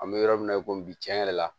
An bɛ yɔrɔ min na i ko bi tiɲɛ yɛrɛ la